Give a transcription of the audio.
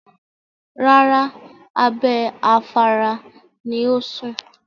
Rárá, abẹ́ afárá ni ó ń sùn.